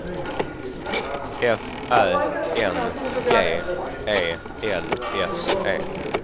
F Ä N G E L S E